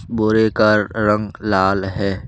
बोरे का रंग लाल है।